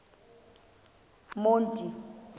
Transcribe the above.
monti